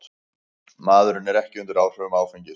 Maðurinn var ekki undir áhrifum áfengis